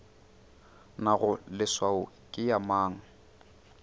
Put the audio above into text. nago leswao ke ya mang